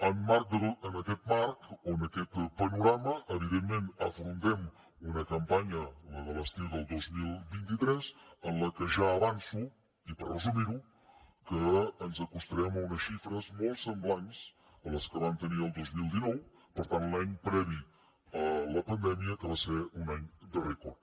en aquest marc o en aquest panorama evidentment afrontem una campanya la de l’estiu del dos mil vint tres en la que ja avanço i per resumir ho que ens acostarem a unes xifres molt semblants a les que vam tenir el dos mil dinou per tant l’any previ a la pandèmia que va ser un any de rècord